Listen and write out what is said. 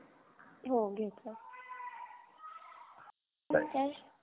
हो घेतल तर cash